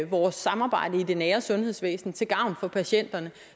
vores samarbejde i det nære sundhedsvæsen til gavn for patienterne